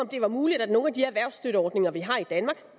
det er muligt at nogle af de erhvervsstøtteordninger vi har i danmark